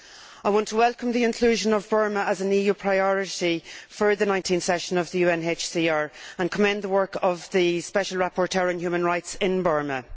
I want to welcome the inclusion of Burma as an EU priority for the 19 th session of the UNHCR, and commend the work of the special rapporteur on human rights in Burma.